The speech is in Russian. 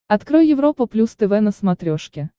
открой европа плюс тв на смотрешке